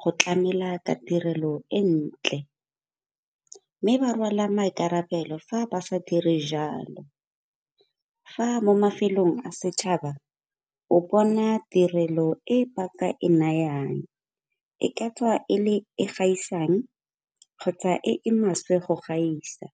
go tlamela ka tirelo e ntle, mme ba rwala maikarabelo fa ba sa dire jalo. Fa mo mafelong a setšhaba o bona tirelo e ba ka e nayang, e ka tswa e gaisang kgotsa e e maswe go gaisa.